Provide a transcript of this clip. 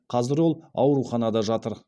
қазір ол ауруханада жатыр